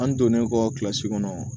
An donn'e kɔ kilasi kɔnɔ